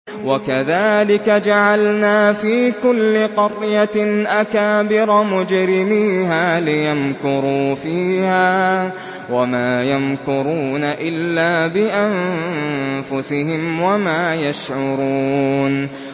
وَكَذَٰلِكَ جَعَلْنَا فِي كُلِّ قَرْيَةٍ أَكَابِرَ مُجْرِمِيهَا لِيَمْكُرُوا فِيهَا ۖ وَمَا يَمْكُرُونَ إِلَّا بِأَنفُسِهِمْ وَمَا يَشْعُرُونَ